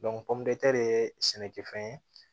ye sɛnɛkɛfɛn ye